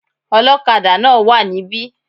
Olókadà náà wá níbí